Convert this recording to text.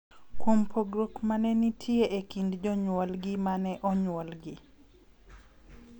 Kuom pogruok ma ne nitie e kind jonyuolgi ma ne onyuolgi.